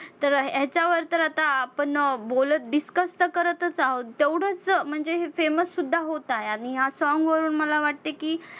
तर हेच्यावर तर आता आपण अं बोलत discuss तर करतच आहोत, तेवढंच म्हणजे हे famous सुद्धा होत आहे आणि ह्या song वरुन मला वाटते की